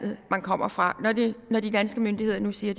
man kommer fra når de danske myndigheder nu siger